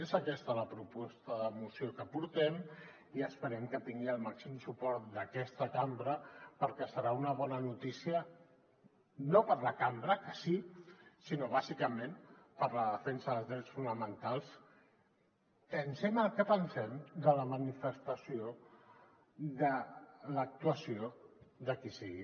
és aquesta la proposta de moció que portem i esperem que tingui el màxim su·port d’aquesta cambra perquè serà una bona notícia no per a la cambra que sí sinó bàsicament per a la defensa dels drets fonamentals pensem el que pensem de la manifestació de l’actuació de qui sigui